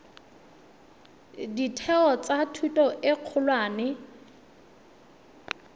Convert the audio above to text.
ditheo tsa thuto e kgolwane